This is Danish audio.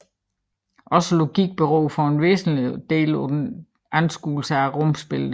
Ogsaa Logikken beror for en væsentlig Del paa Anskuelse af Rumsbilleder